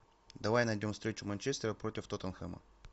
давай найдем встречу манчестера против тоттенхэма